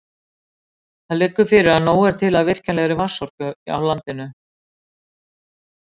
Það liggur fyrir að nóg er til af virkjanlegri vatnsorku á landinu.